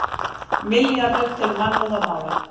Milljarðar til mannúðarmála